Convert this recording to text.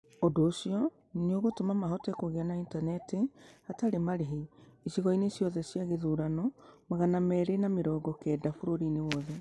Ũndũ ũcio nĩ ũgatũma mahote kũgĩa na Intaneti hatarĩ marĩhi icigo-inĩ ciothe cia gĩthurano magana meerĩ na mĩrongo kenda bũrũriinĩ wothe.